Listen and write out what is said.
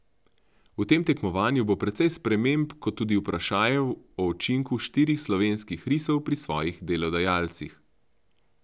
V tem tekmovanju bo precej sprememb kot tudi vprašajev o učinku štirih slovenskih risov pri svojih delodajalcih.